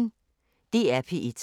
DR P1